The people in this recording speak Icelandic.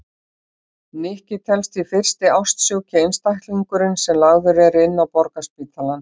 Nikki telst því fyrsti ástsjúki einstaklingurinn sem lagður er inn á Borgarspítalann.